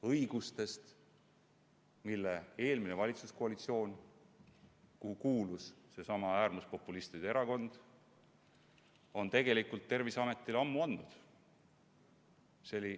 – õigustest, mille eelmine valitsuskoalitsioon, kuhu kuulus seesama äärmuspopulistide erakond, on tegelikult Terviseametile juba ammu andnud.